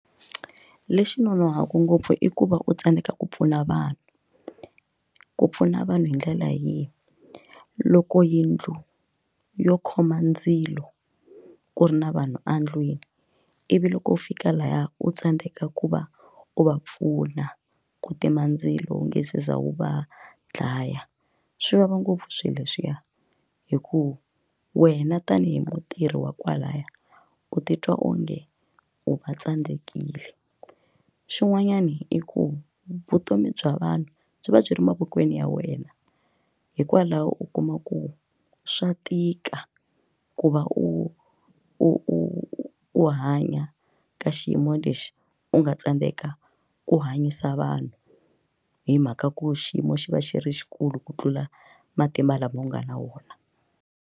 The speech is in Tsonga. Lexi nonohaku ngopfu i ku va u tsandeka ku pfuna vanhu ku pfuna vanhu hi ndlela yihi loko yindlu yo khoma ndzilo ku ri na vanhu endlwini ivi loko u fika laya u tsandeka ku va u va pfuna ku tima ndzilo lungisisa wu va dlaya swi vava ngopfu swilo leswiya hikuva wena tanihi mutirhi wa kwalaya u titwa onge u va tsandzekile xin'wanyana i ku vutomi bya vanhu byi va byi ri mavokweni ya wena hikwalaho u kuma ku swa tika ku va u u u u hanya ka xiyimo lexi u nga tsandeka ku hanyisa vanhu hi mhaka ku xiyimo xi va xi ri xikulu ku tlula matimba lama u nga na wona.